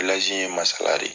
in ye Masala de